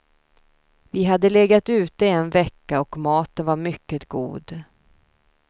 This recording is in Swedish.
Vi hade legat ute en vecka och maten var mycket god.